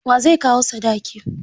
Wa zai kawo sadaki?